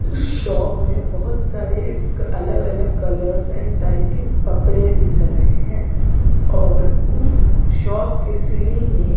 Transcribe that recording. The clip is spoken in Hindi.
उस शॉप में बहुत सारे अलग अलग कलर्स एंड टाइप के कपड़े दिख रहे हैं और उस शॉप के सीलिंग में--